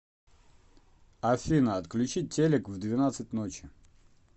афина отключи телек в двенадцать ночи